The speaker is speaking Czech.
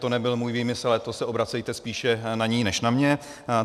To nebyl můj výmysl, ale to se obracejte spíše na ni než na mě.